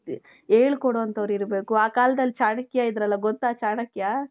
ಹೇಳ್ಕೊಡೊ ಅಂತವರು ಇರ್ಬೇಕು.ಆ ಕಾಲದಲ್ಲಿ ಚಾಣಕ್ಯ ಇದ್ರಲ್ಲ ಗೊತ್ತಾ ಚಾಣಕ್ಯ?